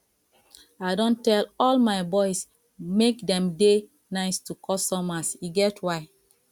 i don tell all my boys make dem dey nice to customers e get why